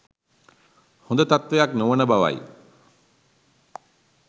හොඳ තත්ත්වයක් නොවන බවයි.